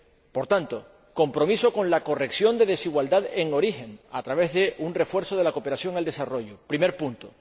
Por tanto, compromiso con la corrección de desigualdad en origen, a través de un refuerzo de la cooperación al desarrollo, primer punto.